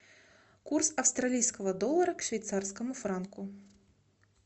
курс австралийского доллара к швейцарскому франку